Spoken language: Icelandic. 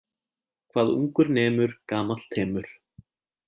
Hvað ungur nemur gamall temur.